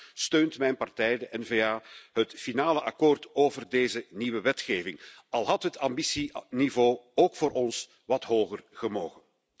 Daarom steunt mijn partij, de N VA, het finale akkoord over deze nieuwe wetgeving, al had het ambitieniveau ook voor ons wat hoger gemogen.